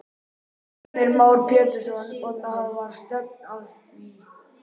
Heimir Már Pétursson: Og það var stefnt að því?